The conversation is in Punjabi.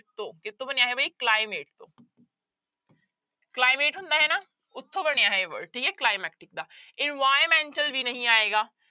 ਤੋਂ ਕਿਹਤੋਂ ਬਣਿਆ ਹੈ ਵੀ climate ਤੋਂ climate ਹੁੰਦਾ ਹੈ ਨਾ ਉੱਥੋਂ ਬਣਿਆ ਇਹ word ਠੀਕ ਹੈ climactic ਦਾ environmental ਵੀ ਨਹੀਂ ਆਏਗਾ।